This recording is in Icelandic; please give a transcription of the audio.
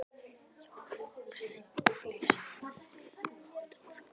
Jón Hólmsteinn Júlíusson: Þessi mótor?